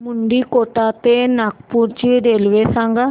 मुंडीकोटा ते नागपूर ची रेल्वे सांगा